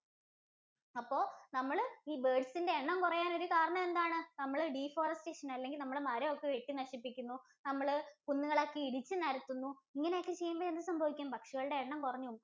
അപ്പൊ നമ്മള് ഈ birds ഇന്‍റെ എണ്ണം കുറയാൻ ഒരു കാരണം എന്താണ്? നമ്മള് deforestation അല്ലെങ്കിൽ നമ്മള് മരം ഒക്കെ വെട്ടി നശിപ്പിക്കുന്നു. നമ്മള് കുന്നുകൾ ഒക്കെ ഇടിച്ച് നിരത്തുന്നു. ഇങ്ങനെ ഒക്കെ ചെയ്യുമ്പോൾ എന്ത് സംഭവിക്കുന്നു? പക്ഷികളുടെ എണ്ണം കുറഞ്ഞ് പോവും.